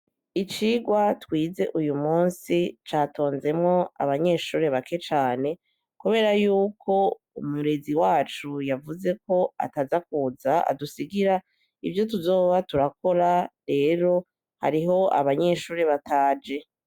Icigwa twize uyu musi catonzemwo abanyeshure bake cane, kubera yuko umurezi wacu yavuzeko ataza kuza, adusigira ivyo tuzoba turakora , rero hariho abanyeshure bataje.